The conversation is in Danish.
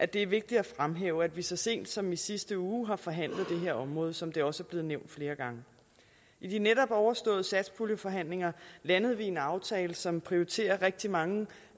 det er vigtigt at fremhæve at vi så sent som i sidste uge har forhandlet det her område som det også er blevet nævnt flere gange i de netop overståede satspuljeforhandlinger landede vi en aftale som prioriterer rigtig mange